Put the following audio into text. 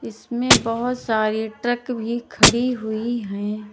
इसमें बहोत सारी ट्रक भी खड़ी हुई है।